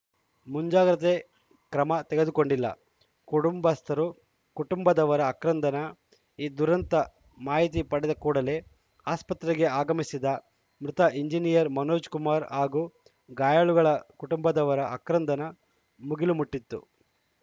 ಮುಂಜಾಗ್ರತೆ ಕ್ರಮ ತೆಗೆದುಕೊಂಡಿಲ್ಲ ಕುಟುಂಬಸ್ಥರು ಕುಟುಂಬದವರ ಅಕ್ರಂದನ ಈ ದುರಂತ ಮಾಹಿತಿ ಪಡೆದ ಕೂಡಲೇ ಆಸ್ಪತ್ರೆಗೆ ಆಗಮಿಸಿದ ಮೃತ ಎಂಜಿನಿಯರ್‌ ಮನೋಜ್‌ ಕುಮಾರ್‌ ಹಾಗೂ ಗಾಯಾಳುಗಳ ಕುಟುಂಬದವರ ಅಕ್ರಂದನ ಮುಗಿಲು ಮುಟ್ಟಿತ್ತು